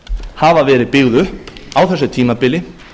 hafa verið byggð upp á þessu tímabili